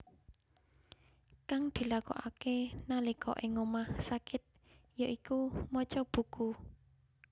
Kang dilakokake nalika ing omah sakit ya iku maca buku